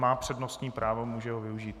Má přednostní právo, může ho využít.